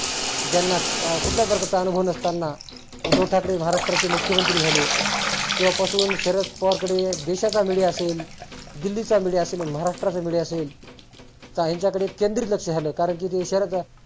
ज्यांना कुठल्या प्रकारचा अनुभव नसताना उद्धव ठाकरे महाराष्ट्राचे मुख्यमंत्री झाले. तेव्हा पासुन शरद पवार कडे देशा media असेल दिल्लीचा media असेल, महाराष्ट्राचा media असेल ह्याच्याकडे केंद्रित लक्ष आलं. कारण की ते शरद